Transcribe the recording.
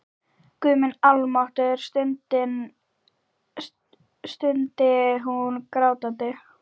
Guð minn almáttugur, stundi hún grátandi.